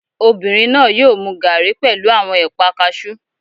Obìnrin náà yóò mu gaàrí pẹ̀lú àwọn ẹ̀pà kaasú